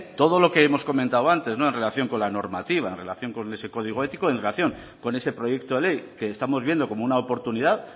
todo lo que hemos comentado antes en relación con la normativa en relación con ese código ético y en relación con ese proyecto de ley que estamos viendo como una oportunidad